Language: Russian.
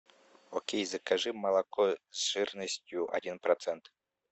окей закажи молоко с жирностью один процент